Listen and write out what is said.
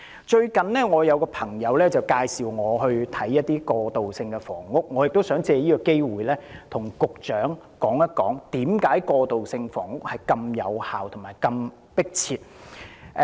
最近有一位朋友介紹我參觀一些過渡性房屋，我亦想借此機會向局長指出為何過渡性房屋如此有效和迫切。